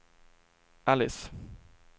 Alice